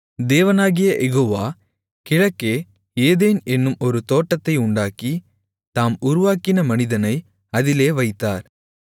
தேவனாகிய யெகோவா கிழக்கே ஏதேன் என்னும் ஒரு தோட்டத்தை உண்டாக்கி தாம் உருவாக்கின மனிதனை அதிலே வைத்தார்